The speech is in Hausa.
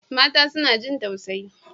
Mata suna jin tausayi.